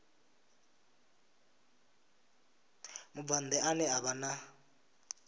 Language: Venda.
mubvann ḓa ane a vha